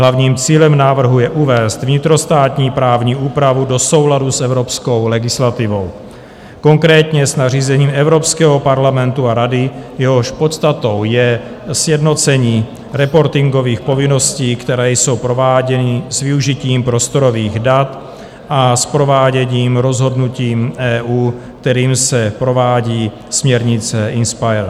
Hlavním cílem návrhu je uvést vnitrostátní právní úpravu do souladu s evropskou legislativou, konkrétně s nařízením Evropského parlamentu a Rady, jehož podstatou je sjednocení reportingových povinností, které jsou prováděny s využitím prostorových dat a s prováděním rozhodnutí EU, kterým se provádí směrnice INSPIRE.